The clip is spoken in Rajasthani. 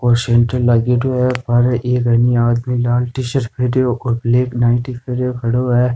बाहेरे एक आदमी लाल टी-शर्ट पेहेरियो और ब्लैक नाईटी पेहेरियो खड़ो है।